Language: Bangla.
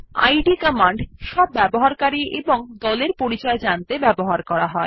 ইদ - কমান্ড সব ব্যবহারকারী এবং দলের পরিচয় জানতে ব্যবহার করা হয়